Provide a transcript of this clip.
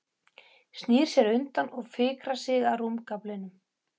Snýr sér undan og fikrar sig að rúmgaflinum.